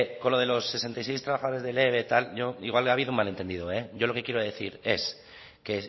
con lo de los sesenta y seis trabajadores del eve y tal igual ha habido un malentendido yo lo que quiero decir es que